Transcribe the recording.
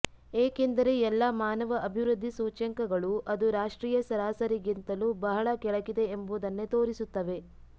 ಏಕೆಂದರೆ ಎಲ್ಲ ಮಾನವ ಅಭಿವೃದ್ಧಿ ಸೂಚ್ಯಂಕಗಳೂ ಅದು ರಾಷ್ಟ್ರೀಯ ಸರಾಸರಿಗಿಂತಲೂ ಬಹಳ ಕೆಳಗಿದೆ ಎಂಬುದನ್ನೇ ತೋರಿಸುತ್ತವೆ